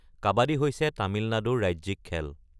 কাবাডী হৈছে তামিলনাডুৰ ৰাজ্যিক খেল।